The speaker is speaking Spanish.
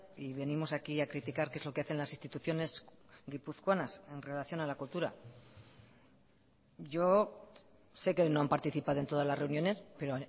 y venimos aquí a criticar qué es lo que hacen las instituciones guipuzcoanas en relación a la cultura yo sé que no han participado en todas las reuniones pero